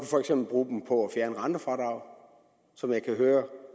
for eksempel bruge dem på at fjerne rentefradrag som jeg kan høre at